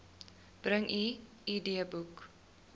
bring u idboek